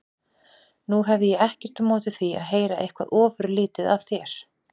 Nú hefði ég ekkert á móti því að heyra eitthvað ofurlítið af þér.